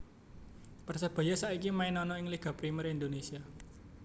Persebaya saiki main ana ing Liga Premier Indonesia